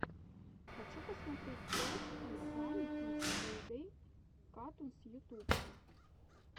хочу посмотреть тойс энд фанни кидс плей дей катунс ютуб